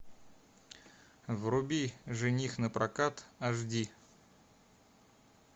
вруби жених напрокат аш ди